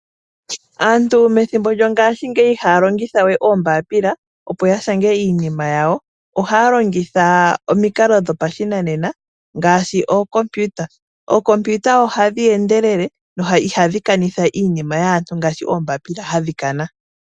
Aantu methimbo lyongaashingeyi ihaya longithawe oombapila opo yashange iinima yawo, ohaya longitha omikalo dhopashinanena ngaashi ookompiuta. Ookompiuta ohadhi endelele noihadhi kanitha iinima yaantu ngaashi oombaapila hadhi kana.